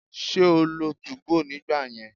Ṣé o lo 2go nígbà yẹn?